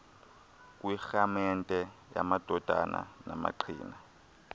kwirhaamente yamadodana namaqina